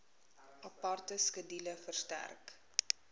aparte skedule verstrek